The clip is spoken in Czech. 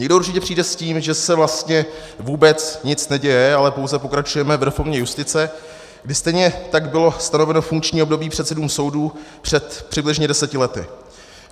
Někdo určitě přijde s tím, že se vlastně vůbec nic neděje, ale pouze pokračujeme v reformě justice, kdy stejně tak bylo stanoveno funkční období předsedům soudů před přibližně deseti lety.